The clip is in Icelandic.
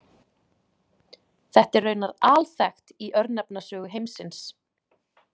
Þetta er raunar alþekkt í örnefnasögu heimsins.